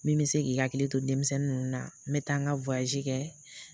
Min bɛ se k'i hakili to denmisɛnnin ninnu na n bɛ taa an ka w kɛ.